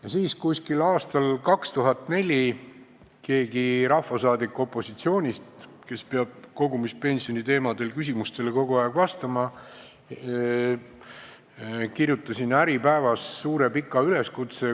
Ja siis, umbes aastal 2004, keegi rahvasaadik opositsioonist, kes peab kogu aeg vastama küsimustele kogumispensioni teemadel, kirjutas Äripäevas suure pika üleskutse.